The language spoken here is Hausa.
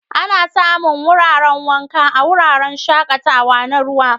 Ana samu wuraren wanka a wuraren shaƙatawa na ruwa.